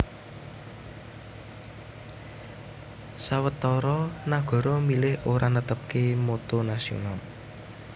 Sawetara nagara milih ora netepaké motto nasional